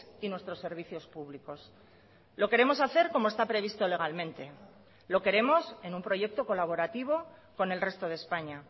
y nuestros servicios públicos lo queremos hacer como está previsto legalmente lo queremos en un proyecto colaborativo con el resto de españa